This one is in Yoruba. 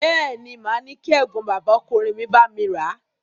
Bẹ́ẹ̀ ni, màá ní kí ẹ̀gbọ́n bàbá ọkùnrin mi bá mi rà a.